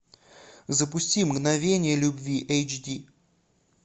запусти мгновение любви эйч ди